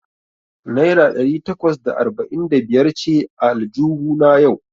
Naira ɗari takwas da arba'in da biyar ce a aljuhuna yau.